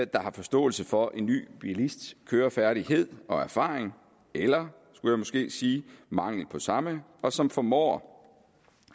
der har forståelse for en ny bilists kørefærdighed og erfaring eller mangel på samme og som formår